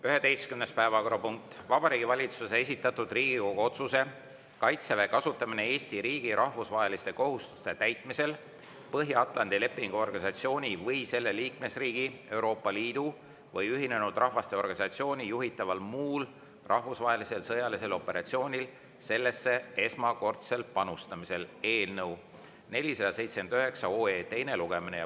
Päevakorrapunkt nr 11: Vabariigi Valitsuse esitatud Riigikogu otsuse "Kaitseväe kasutamine Eesti riigi rahvusvaheliste kohustuste täitmisel Põhja-Atlandi Lepingu Organisatsiooni või selle liikmesriigi, Euroopa Liidu või Ühinenud Rahvaste Organisatsiooni juhitaval muul rahvusvahelisel sõjalisel operatsioonil sellesse esmakordsel panustamisel" eelnõu 479 teine lugemine.